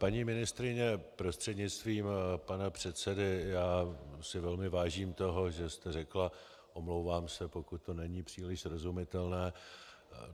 Paní ministryně prostřednictvím pana předsedy, já si velmi vážím toho, že jste řekla "omlouvám se, pokud to není příliš srozumitelné".